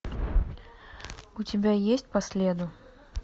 у тебя есть по следу